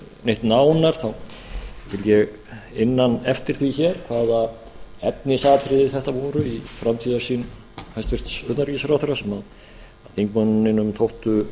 neitt nánar þá vildi ég inna hann eftir því hvaða efnisatriði þetta voru í framtíðarsýn hæstvirts utanríkisráðherra sem þingmanninum þóttu